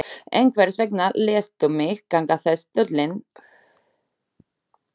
En hvers vegna léstu mig ganga þess dulinn?